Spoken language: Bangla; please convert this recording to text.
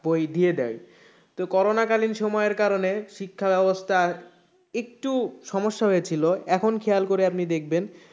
বই দিয়ে দেয় তো করোনা কালীন সময়ের কারণে শিক্ষা ব্যাবস্থার একটু সমস্যা হয়েছিল এখন খেয়াল করে আপনি দেখবেন,